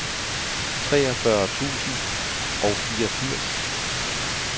treogfyrre tusind og fireogfirs